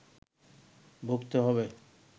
ভুগতে হবে